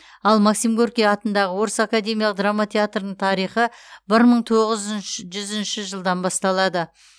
ал максим горький атындағы орыс академиялық драма театрының тарихы бір мың тоғыз жүзінші жылдан басталады